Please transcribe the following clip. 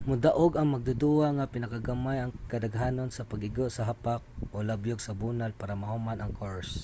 modaog ang magduduwa nga pinakagamay ang kadaghanon sa pag-igo sa hapak o labyog sa bunal para mahuman ang course